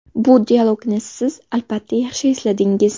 Bu dialogni siz, albatta, yaxshi esladingiz.